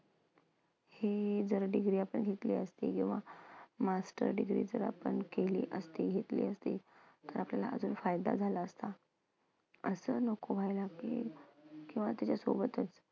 हे जर degree आपण घेतली असती किंवा master degree जर आपण केली असती, घेतली असती आपल्याला अजून फायदा झाला असता. असं नको व्हायला की किंवा त्याच्यासोबतच